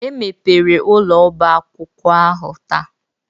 E mepere ụlọ ọba akwụkwọ ahụ taa.